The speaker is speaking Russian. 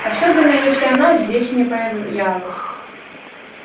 особенно если она здесь не появлялась